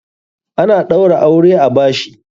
Ana ɗaura aure a bashi.